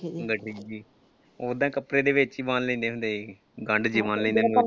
ਓਦਾਂ ਕੱਪੜੇ ਦੇ ਵਿਚ ਈ ਬੰਨ ਲੈਂਦੇ ਸੀ। ਗੰਢ ਜਿਹੀ ਬੰਨ ਲੈਂਦੇ ਸੀ ਗੱਠੜੀ ਦੀ।